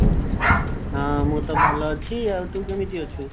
ହୁଁ ମୁଁ ତ ଭଲ ଅଛି ଆଉ ତୁ କେମିତେ ଅଛୁ